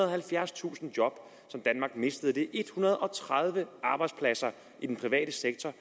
og halvfjerdstusind job som danmark mistede det en hundrede og tredive arbejdspladser i den private sektor